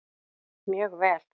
Mjög vel